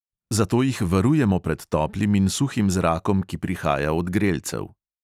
Zato jih varujemo pred toplim in suhim zrakom, ki prihaja od grelcev.